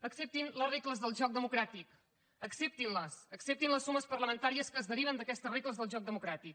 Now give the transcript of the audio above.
acceptin les regles del joc democràtic acceptin les acceptin les sumes parlamentàries que es deriven d’aquesta regles del joc democràtic